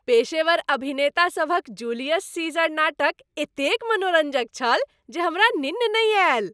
पेशेवर अभिनेता सभक जूलियस सीजर नाटक एतेक मनोरञ्जक छल जे हमरा निन्न नहि आयल।